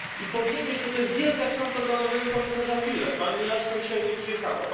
Powiedzieć to jest to wielka szansa dla nowego komisarza Füle. Pani Ashton dzisiaj nie przyjechała.